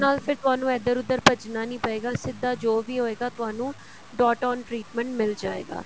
ਨਾਲ ਫਿਰ ਤੁਹਾਨੂੰ ਇੱਧਰ ਉੱਧਰ ਭੱਜਣਾ ਨਹੀਂ ਪਏਗਾ ਸਿੱਧਾ ਜੋ ਵੀ ਹੋਏਗਾ ਤੁਹਾਨੂੰ dot on treatment ਮਿਲ ਜਾਏਗਾ